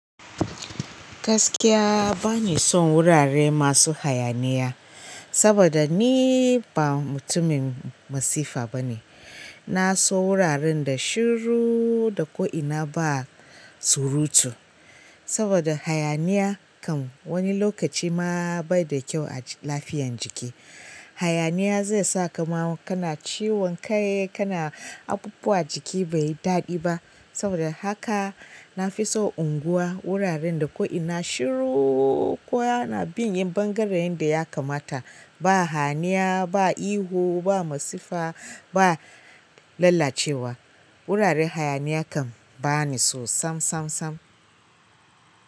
Gaskiya bani son wurare masu hayaniya saboda ni ba mutumin masifa bane. Na so wuraren da shiru da ko'ina ba surutu. Saboda hayaniya kan wani lokaci ma bai da kyau a lafiyan jiki. Hayaniya zai sa kama kana ciwon kai, kana abubuwa jiki bai daɗi ba. Saboda haka na fi so unguwa, wuraren da ko'ina shiru ko ana bin yin ɓangaren yen da ya kamata. Ba hayaniya ba ihu ba masifa ba lallacewa guraren hayaniya kam baniso samsam.